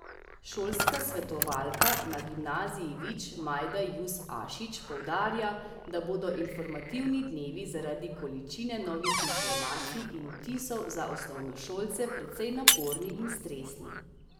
Šolska svetovalka na Gimnaziji Vič Majda Jus Ašič poudarja, da bodo informativni dnevi zaradi količine novih informacij in vtisov za osnovošolce precej naporni in stresni.